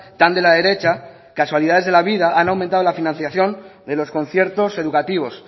tan de la derecha casualidades de la vida han aumentado la financiación de los conciertos educativos